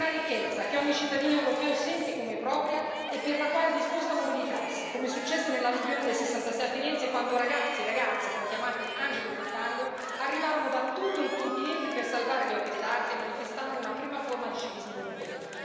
Una ricchezza che ogni cittadino europeo sente come propria e per la quale è disposto a mobilitarsi, come successe nell'alluvione del 1966 a Firenze, quando ragazzi e ragazze, poi chiamati angeli del fango, arrivarono da tutto il continente per salvare le opere d'arte, manifestando una prima forma di civismo europeo.